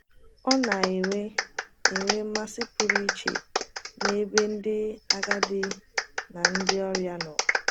ọ na - enwe enwe mmasị pụrụ iche n’ebe ndị agadi na ndị ọrịa nọ.